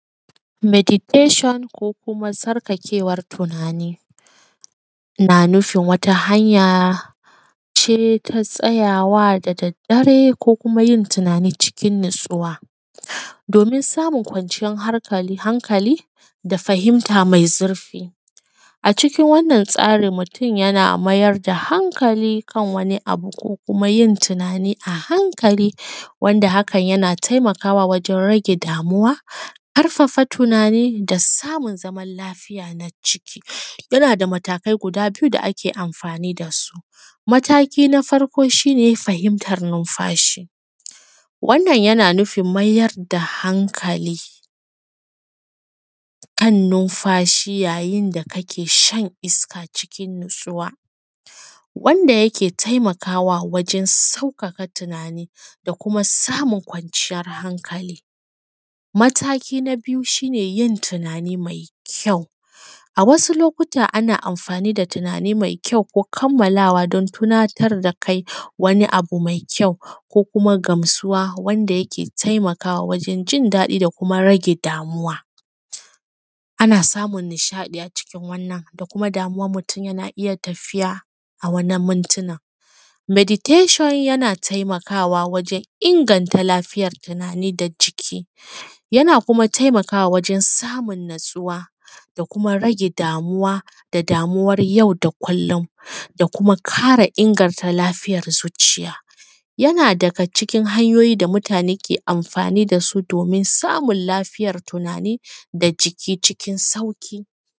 Medictation ko kuma tsarkakewan tunani na nufin wata hanya ce ta tsayawa da daddare ko kuma yin tunani cikin natsuwa domin samun kwarciyar hankali da fahimta me zurfi. A cikin wannan tsarin mutum yana mayar da hankali kan wani abu ko kuma yin tunani a hankali wanda hakan yana taimakawa wajen rage damuwa, ƙarfafa tunani da samun zaman lafiya na ciki yana da matakai guda biyu da ake amfani da su. Mataki na farko shi ne fahimtan nunfashi wannan yana nufin mayar da hankali kan numfashi yayin da kake shan iska cikin natsuwa wanda yake taimakawa wajen sauƙaƙa tunani da kuma samun kwanciyan hankali. Mataki na biyu shi ne yin tunani mai kyau a wasu lokutan ana amfani da tunani mai kyau ko kammalawa don tunatar da kai wani abu mai kyau ko kuma gamsuwa wanda yake taimakwa wajen jin daɗi da kuma rage damuwa. Ana samun nishaɗi a cikin wannan da kuma damuwan mutum yana tafiya a wannan muntina, meditashon yana taimakawa wajen inganta lafiyar jiki da ciki wannan kuma taimakawa wajen samun natsuwa da kuma rage damuwa da damuwar yau da kulllum da kuma ƙara inganta lafiyar zuciya. Yana daga cikin hanyoyi da mutune ke amfani da su domin samun lafiyar tunani da ciki cikin sauƙi.